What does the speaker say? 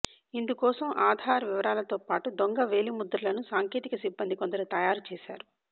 ఇందుకోసం ఆధార్ వివరాలతో పాటు దొంగ వేలిముద్రలను సాంకేతిక సిబ్బంది కొందరు తయారుచేశారు